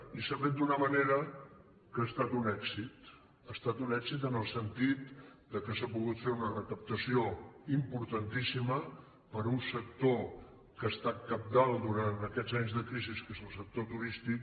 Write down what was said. i s’ha fet d’una manera que ha estat un èxit ha estat un èxit en el sentit que s’ha pogut fer una recaptació importantíssima per a un sector que ha estat cabdal durant aquests anys de crisi que és el sector turístic